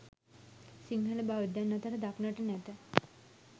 සිංහල බෞද්ධයන් අතර දක්නට නැත.